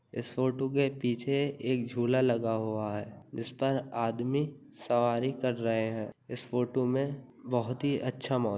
इस फोटो के पीछे एक झूला लगा हुआ है जिस पर आदमी सवारी कर रहे हैं। इस फोटो में बहोत ही अच्छा मौ --